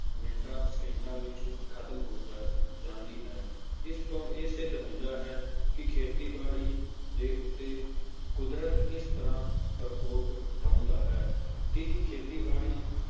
ਮਿੰਟਾਂ ਸਕਿੰਟਾਂ ਵਿੱਚ ਖ਼ਤਮ ਹੋ ਜਾਂਦੀ ਹੈ, ਇਸ ਤੋਂ ਇਹ ਸਿੱਧ ਹੁੰਦਾ ਹੈ ਕਿ ਖੇਤੀਬਾੜੀ ਦੇ ਉੱਤੇ ਕੁਦਰਤ ਕਿਸ ਤਰ੍ਹਾਂ ਪਰਕੋਪ ਢਾਉਂਦਾ ਹੈ, ਕੀ ਖੇਤੀਬਾੜੀ